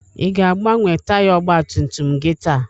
Ị ga-agbanwe taya ọgba tum tum gị taa?